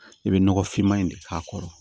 I bɛ nɔgɔfinma in de k'a kɔrɔ